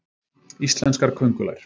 Íslenskar köngulær.